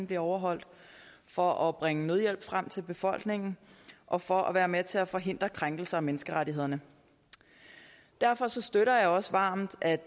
bliver overholdt for at bringe nødhjælp frem til befolkningen og for at være med til at forhindre krænkelser af menneskerettighederne derfor støtter jeg også varmt at